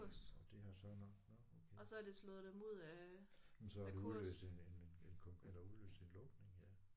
Og det har så nok nåh okay men så har det udløst en en en en kon eller udløst en lukning ja